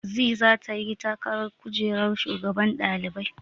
Zee zata yi takarar kujerar shugaban ɗalibai.